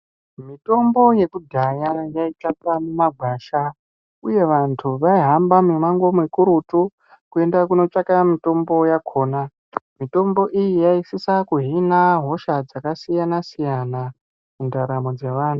Mitombo yekudhaya yaitsvakwa mumagwasha uye vantu vaihamna mumango mikurutu kuenda kundotsvaka mitombo yakona mitombo iyi yaisaasa kuhina hosha dzakasiyana siyana.